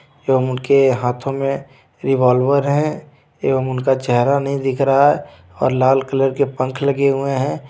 एवं उनके हाथों में रिवोल्वर हैं एवं उनका चेहरा नहीं दिख रहा है और लाल कलर के पंख लगे हुए हैं.